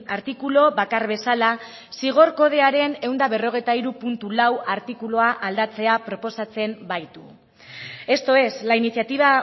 artikulu bakar bezala zigor kodearen ehun eta berrogeita hiru puntu lau artikulua aldatzea proposatzen baitu esto es la iniciativa